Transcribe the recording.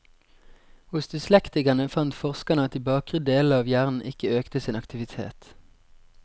Hos dyslektikerne fant forskerne at de bakre delene av hjernen ikke økte sin aktivitet.